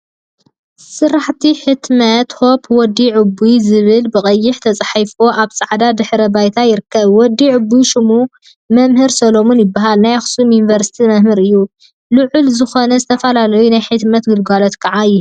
ስራሕቲ ሕትመት ሆፕ/ወዲ ዕቡይ/ ዝብል ብቀይሕ ተፃሒፉ አብ ፃዕዳ ድሕረ ባይታ ይርከብ፡፡ ወዲ ዕቡይ ሽሙ መምህር ሰለሙን ይበሃል፡፡ ናይ አክሱም ዩኒቨርሲቲ መምህር እዩ፡፡ ልዑል ዝኾነ ዝተፈላለዩ ናይ ሕትመት ግልጋሎት ከዓ ይህብ፡፡